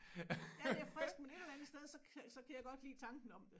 Ja det er frisk men et eller andet sted så så kan jeg godt lide tanken om det